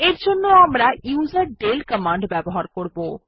এর জন্য আমরা ইউজারডেল কমান্ড ব্যবহার করবো